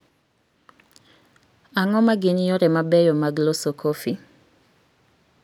Ang�o ma gin yore mabeyo mag loso kofi?